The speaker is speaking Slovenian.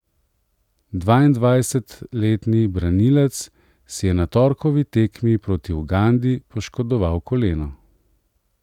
Dvaindvajsetletni branilec si je na torkovi tekmi proti Ugandi poškodoval koleno.